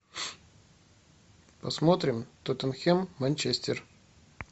посмотрим тоттенхэм манчестер